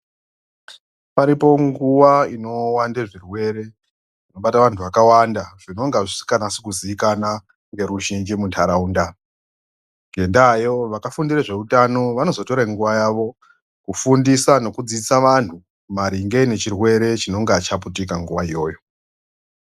Paripo nguwa inowande zvirwere zvinoibata vantu vakawanda zvinonga zvisikanasi kuzikana ngeruzhinji munharaunda ngendayo vakafundira zveutano vanozotore nguwa yawo kufundisa nokudzidzisa vanhu maringe nechirwere chinonga chaputika nguwa iyoyo.